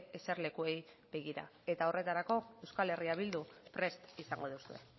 eserlekuei begira eta horretarako euskal herria bildu prest izango duzue